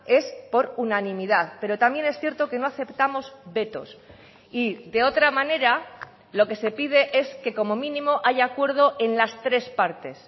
es por unanimidad pero también es cierto que no aceptamos vetos y de otra manera lo que se pide es que como mínimo haya acuerdo en las tres partes